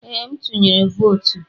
Ee, m tuyere votu.